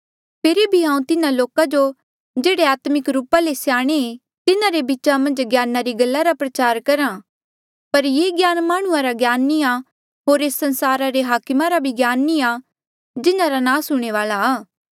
फेरी भी हांऊँ तिन्हा लोका जो जेह्ड़े आत्मिक रूपा ले स्याणे तिन्हारे बीचा मन्झ ज्ञाना री गल्ला रा प्रचार करहा पर ये ज्ञान माह्णुंआं रा ज्ञान नी आ होर एस संसारा रे हाकमा रा भी ज्ञान नी आ जिन्हारा नास हूंणे वाल्आ आ